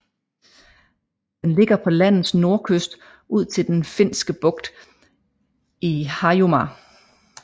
Den ligger på landets nordkyst ud til Den Finske Bugt i Harjumaa